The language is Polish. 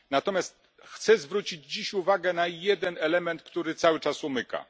Natomiast chcę zwrócić uwagę na jeden element, który cały czas nam umyka.